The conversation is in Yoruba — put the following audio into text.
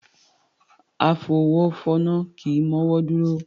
Afọwọ́fọnná kì í mọ́wọ́ dúró